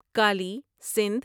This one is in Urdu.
کالی سندھ